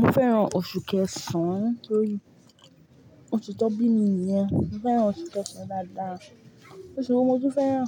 Mo fẹ́ran oṣù kẹsàn torí ósu tó bími nìyẹn. Mo fẹ́ran oṣù kẹsàn dáadáa. Oṣù wó mo tun fẹ́ran